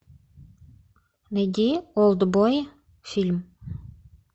найди олдбой фильм